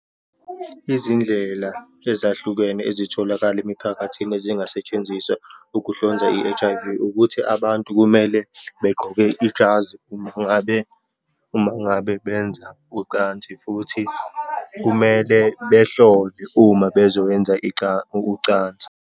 Izindlela ezahlukene ezitholakala emiphakathini ezingasetshenziswa ukuhlonza i-H_I_V, ukuthi abantu kumele begqoke ijazi, uma ngabe, uma ngabe benza ucansi, futhi kumele behlole uma bezoyenza ucansa.